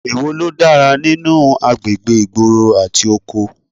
Èwo ló dára nínú agbègbè ìgboro àti oko?